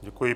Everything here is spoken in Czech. Děkuji.